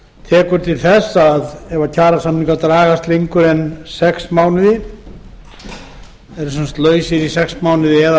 tekur til þess að ef kjarasamningar eru lausir í sex mánuði eða